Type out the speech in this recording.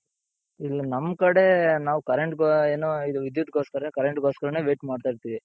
ಇಲ್ಲಿ ನಮ್ ಕಡೆ ನಾವ್ currentಗೆ ಏನು ಇದು ವಿದ್ಯುತ್ ಗೋಸ್ಕರ currentಗೋಸ್ಕರನೆ wait ಮಾಡ್ತಾ ಇರ್ತಿವಿ.